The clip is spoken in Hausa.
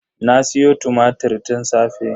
Na siyo tumatir tun safe.